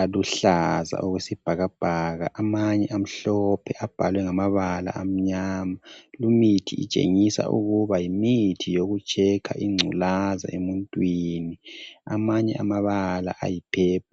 aluhlaza okwesibhakabhaka. Amanye amhlophe abhalwe ngamabala amnyama. Limithi itshengisa ukuba yimithi yokutshekha ingculaza emuntwini. Amanye amabala ayipheplu.